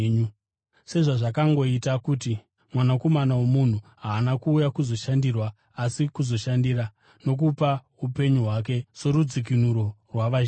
sezvazvakangoita kuti Mwanakomana woMunhu haana kuuya kuzoshandirwa asi kuzoshandira, nokupa upenyu hwake sorudzikinuro rwavazhinji.”